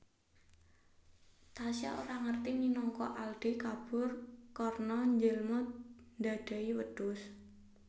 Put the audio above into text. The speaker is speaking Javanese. Tasya ora ngerti minangka Aldi kabur karna njilma dadai wedus